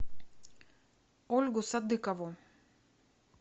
ольгу садыкову